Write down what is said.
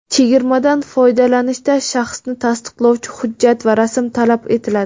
Chegirmadan foydalanishda shaxsni tasdiqlovchi hujjat va rasm talab etiladi.